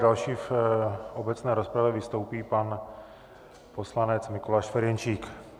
Další v obecné rozpravě vystoupí pan poslanec Mikuláš Ferjenčík.